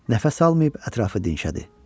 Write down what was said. Nəfəs almayıb ətrafa dinşədi.